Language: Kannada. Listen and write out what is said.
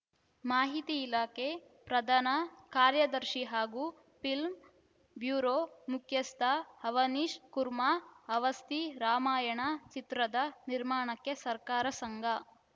ಮಾಹಿತಿ ಇಲಾಖೆ ಪ್ರಧಾನ ಕಾರ್ಯದರ್ಶಿ ಹಾಗೂ ಫಿಲ್ಮ್‌ ಬ್ಯೂರೋ ಮುಖ್ಯಸ್ಥ ಅವನೀಶ್‌ ಕುರ್ಮಾ ಅವಸ್ತಿ ರಾಮಾಯಣ ಚಿತ್ರದ ನಿರ್ಮಾಣಕ್ಕೆ ಸರ್ಕಾರ ಸಂಪೂರ್ಣ ಬೆಂಬಲ ನೀಡಲಿದೆ ಎಂದು ಹೇಳಿದ್ದಾರೆ